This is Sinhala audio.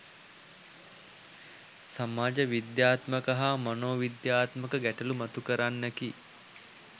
සමාජ විද්‍යාත්මක හා මනෝවිද්‍යාත්මක ගැටලු මතුකරන්නකි